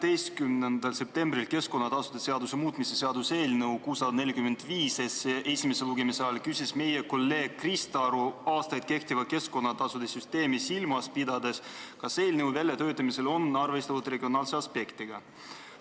12. septembril, keskkonnatasude seaduse muutmise seaduse eelnõu 645 esimese lugemise ajal, küsis meie kolleeg Krista Aru aastaid kehtivat keskkonnatasude süsteemi silmas pidades, kas eelnõu väljatöötamisel on arvestatud regionaalse aspektiga.